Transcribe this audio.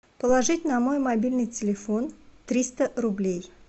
положить на мой мобильный телефон триста рублей